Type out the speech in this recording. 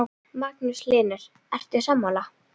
Magnús Hlynur: Ert þú sammála?